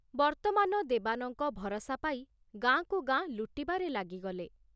ବର୍ତ୍ତମାନ ଦେବାନଙ୍କ ଭରସା ପାଇ ଗାଁକୁ ଗାଁ ଲୁଟିବାରେ ଲାଗିଗଲେ